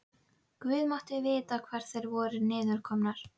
Guð mátti vita hvar þær voru niðurkomnar.